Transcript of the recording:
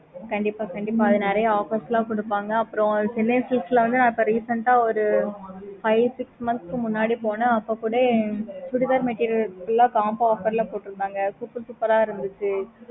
okay mam